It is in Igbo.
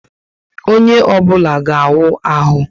Onye obula ga awu ahu